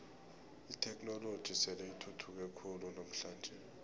itheknoloji sele ithuthuke khulu namhlanje